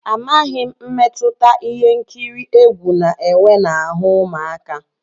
Amaghị m mmetụta ihe nkiri egwu na-enwe n'ahụ́ ụmụaka.